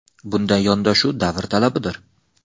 Bunday yondashuv – davr talabidir.